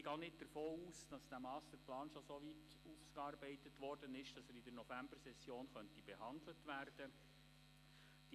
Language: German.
Ich gehe nicht davon aus, dass der Masterplan schon so weit ausgearbeitet worden ist, dass er in der Novembersession behandelt werden könnte.